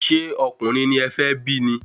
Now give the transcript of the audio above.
Ṣé ọkùnrin ni e fé bí ni?